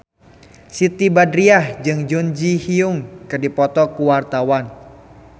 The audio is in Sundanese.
Siti Badriah jeung Jun Ji Hyun keur dipoto ku wartawan